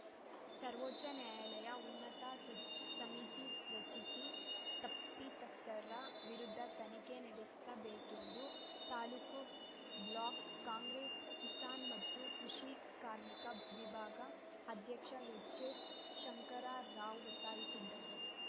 ಸರ್ವೋಚ್ಚ ನ್ಯಾಯಾಲಯ ಉನ್ನತ ಸ ಸಮಿತಿ ರಚಿಸಿ ತಪ್ಪಿತಸ್ಥರ ವಿರುದ್ಧ ತನಿಖೆ ನಡೆಸಬೇಕೆಂದು ತಾಲೂಕು ಬ್ಲಾಕ್‌ ಕಾಂಗ್ರೆಸ್‌ ಕಿಸಾನ್‌ ಮತ್ತು ಕೃಷಿ ಕಾರ್ಮಿಕ ವಿಭಾಗ ಅಧ್ಯಕ್ಷ ಎಚ್‌ಎಸ್‌ ಶಂಕರರಾವ್‌ ಒತ್ತಾಯಿಸಿದ್ದಾರೆ